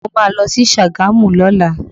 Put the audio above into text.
Mo má lọ sí Sagamu lọ́la